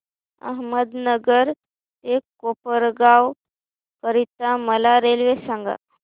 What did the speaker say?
अहमदनगर ते कोपरगाव करीता मला रेल्वे सांगा